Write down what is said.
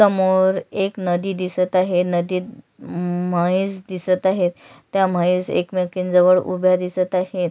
समोर एक नदी दिसत आहे नदीत मम म्हैस दिसत आहेत त्या म्हैस एकमेकींन जवळ उभ्या दिसत आहेत.